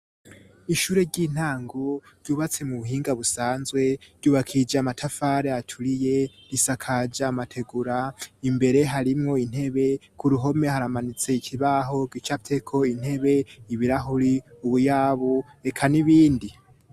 Ishure ry'intango ryubatse mu buhinga busanzwe, ryubakije amatafari aturiye, risakaje amategura, imbere harimwo intebe, k'uruhome haramanitse ikibaho gicafyeko intebe, ibirahuri, ubuyabu, reka n'ibindi.